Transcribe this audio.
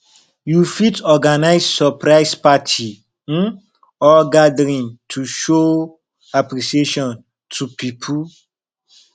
you fit organise surprise party um or gathering to show appreciation to pipo